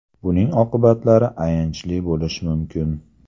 Buning oqibatlari ayanchli bo‘lishi mumkin.